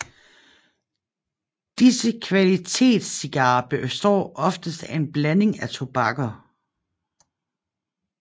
Disse kvalitetscigarer består oftest af en blanding af tobakker